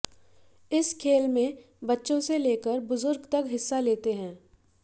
इस खेल में बच्चों से लेकर बुजुर्ग तक हिस्सा लेते हैं